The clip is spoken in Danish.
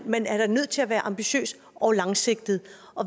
man er nødt til at være ambitiøs og langsigtet